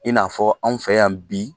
I n'a fɔ anw fɛ yan bi